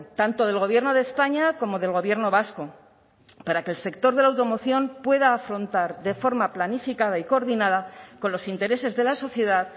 tanto del gobierno de españa como del gobierno vasco para que el sector de la automoción pueda afrontar de forma planificada y coordinada con los intereses de la sociedad